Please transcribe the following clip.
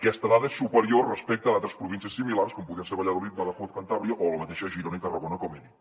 aquesta dada és superior respecte a altres províncies similars com podrien ser valladolid badajoz cantàbria o la mateixa girona i tarragona com he dit